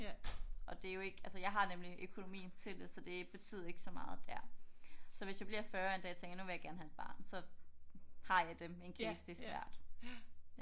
Og det er jo ikke altså jeg har nemlig økonomien til det så det betyder ikke så meget der. Så hvis jeg bliver 40 en dag og tænker jeg nu vil jeg gerne have et barn så har jeg dem in case det bliver svært